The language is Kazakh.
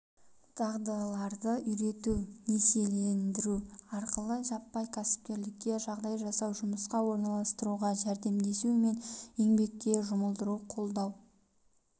дағдыларды үйрету несиелендіру арқылы жаппай кәсіпкерлікке жағдай жасау жұмысқа орналастыруға жәрдемдесу мен еңбекке жұмылдыруды қолдау